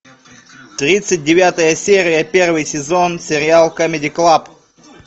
тридцать девятая серия первый сезон сериал камеди клаб